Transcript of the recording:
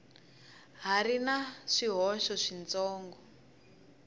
ha ri na swihoxo switsongo